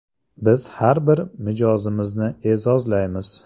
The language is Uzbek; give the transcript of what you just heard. Biz har bir mijozimizni e’zozlaymiz!